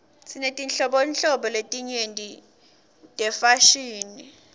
sinetinhlobo letinyenti tefashini